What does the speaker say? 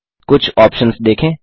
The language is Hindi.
कुछ ऑप्शन्स देखें